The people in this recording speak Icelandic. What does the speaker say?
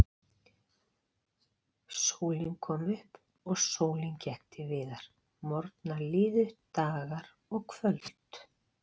Sólin kom upp og sólin gekk til viðar, morgnar liðu, dagar og kvöld.